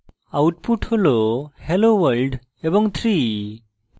output হল hello world এবং 3